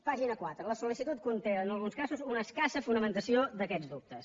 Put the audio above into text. pàgina quatre la sol·té en alguns casos una escassa fonamentació d’aquests dubtes